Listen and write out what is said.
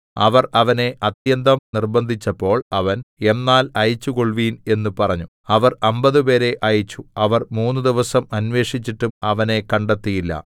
അവർ അവനെ അത്യന്തം നിർബ്ബന്ധിച്ചപ്പോൾ അവൻ എന്നാൽ അയച്ചുകൊള്ളുവിൻ എന്ന് പറഞ്ഞു അവർ അമ്പതുപേരെ അയച്ചു അവർ മൂന്നുദിവസം അന്വേഷിച്ചിട്ടും അവനെ കണ്ടെത്തിയില്ല